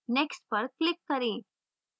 next पर click करें